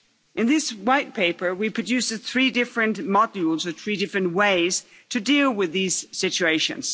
In this White Paper, we produce three different modules with three different ways to deal with these situations.